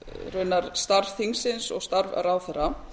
raunar starf þinginu og starf ráðherra